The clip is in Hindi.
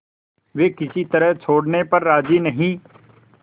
वे किसी तरह छोड़ने पर राजी नहीं